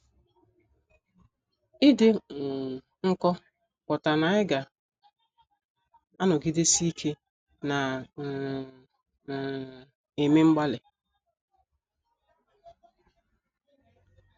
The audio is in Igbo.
Ịdị um nkọ pụtara na anyị ga - anọgidesi ike na um - um eme mgbalị.